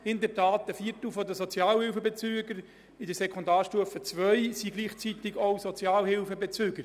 In der Tat: Ein Viertel der Schülerinnen und Schüler auf der Sekundarstufe II sind Sozialhilfebezüger.